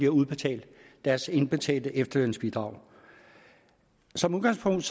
udbetalt deres indbetalte efterlønsbidrag som udgangspunkt